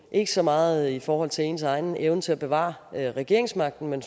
ikke så meget i forhold til ens egen evne til at bevare regeringsmagten men